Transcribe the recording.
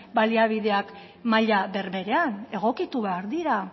baliabideak maila berberean egokitu behar dira